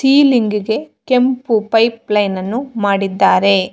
ಈಲಿಂಗ್ಗೆ ಕೆಂಪು pipe line ಅನ್ನು ಮಾಡಿದ್ದಾರೆ.